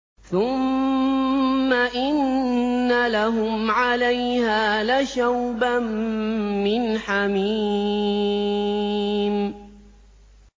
ثُمَّ إِنَّ لَهُمْ عَلَيْهَا لَشَوْبًا مِّنْ حَمِيمٍ